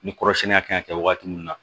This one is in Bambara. Ni kɔrɔsɛni kan ka kɛ waati min na